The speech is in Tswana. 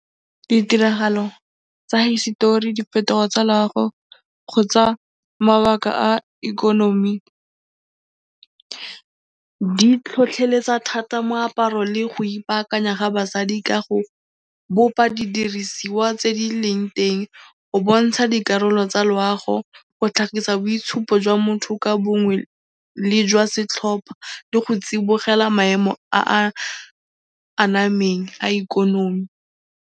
Ditiragalo tsa hisetori, diphetogo tsa loago kgotsa mabaka a ikonomi di tlhotlheletsa thata moaparo le go ipaakanya ga basadi ka go bopa didirisiwa tse di leng teng go bontsha dikarolo tsa loago, go tlhagisa boitshupo jwa motho ka bongwe le jwa setlhopha le go tsibogela maemo a a anameng a ikonomi.